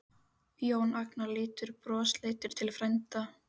Jón Agnar lítur brosleitur til frænda.